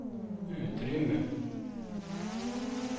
utrymme